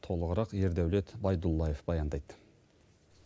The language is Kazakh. толығырақ ердаулет байдулдаев баяндайды